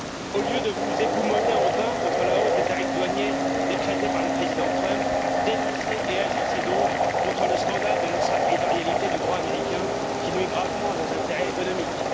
Au lieu de vous époumoner en vain contre la hausse des tarifs douaniers décrétée par le président Trump, dénoncez et agissez donc contre le scandale de l'extra territorialité du droit américain, qui nuit gravement à nos intérêts économiques.